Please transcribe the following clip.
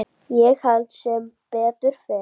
Ég held sem betur fer.